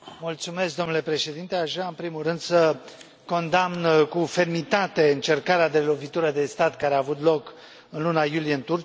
Domnule președinte, aș vrea, în primul rând să condamn cu fermitate încercarea de lovitură de stat care a avut loc în luna iulie în Turcia.